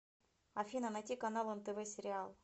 афина найти канал нтв сериал